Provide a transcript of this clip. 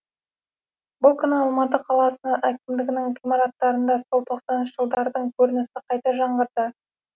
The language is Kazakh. бұл күні алматы қаласы әкімдігінің ғимаратында сол тосаныншы жылдардың көрінісі қайта жаңғырды